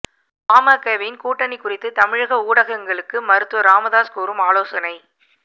பாமகவின் கூட்டணி குறித்து தமிழக ஊடகங்களுக்கு மருத்துவர் ராமதாஸ் கூறும் ஆலோசனை